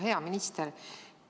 Hea minister!